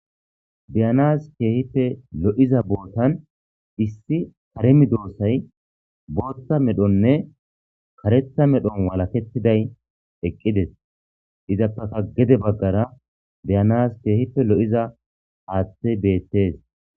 Biyanas keehife lo'iza bootan issi karemi doossay bootta medhonne karetha medhon walakettiday eqqides izappaka gede baggara biyanas keehife lo'iza aaththe beettees.